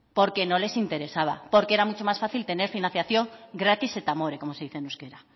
porque no les interesaba porque era mucho más fácil tener financiación gratis eta amore como se dice en euskera